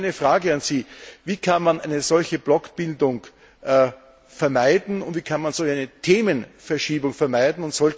Nun meine Frage an Sie Wie kann man eine solche Blockbildung vermeiden und wie kann man so eine Themenverschiebung verhindern?